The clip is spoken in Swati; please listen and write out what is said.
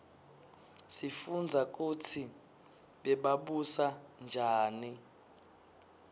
sifundza kutsi bebabusa njani